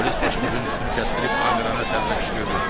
Polis başımızın üstünü kəsdirib Amirana tərsinə qışqırdı.